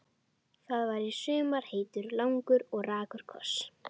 Það var í sumar heitur, langur og rakur koss.